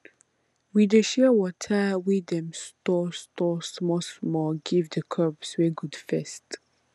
we dey share water wey dem store store smallsmall give the crops wey good first